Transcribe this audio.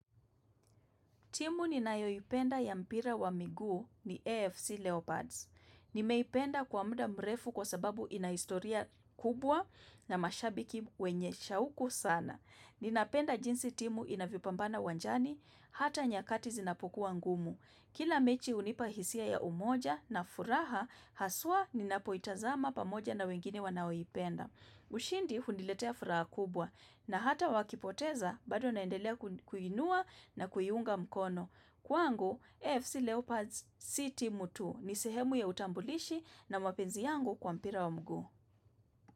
Timu ninayoipenda ya mpira wa miguu ni AFC Leopards. Nimeipenda kwa muda mrefu kwa sababu ina historia kubwa na mashabiki wenye shauku sana. Ninapenda jinsi timu inavyopambana uwanjani, hata nyakati zinapokuwa ngumu. Kila mechi hunipa hisia ya umoja na furaha, haswa ninapoitazama pamoja na wengine wanaoipenda. Ushindi huniletea furaha kubwa na hata wakipoteza bado naendelea kuiinua na kuiunga mkono. Kwangu, AFC Leopards si timu ni sehemu ya utambulishi na mapenzi yangu kwa mpira wa mguu.